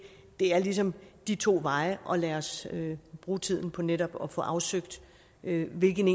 er ligesom de to veje lad os bruge tiden på netop at få afsøgt hvilken